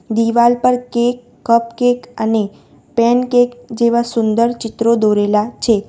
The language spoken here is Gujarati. દિવાલ પર કેક કપ કેક અને પેન કેક જેવા સુંદર ચિત્રો દોરેલા છે.